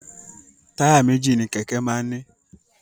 Táyà méjì ni kèké máa ń ni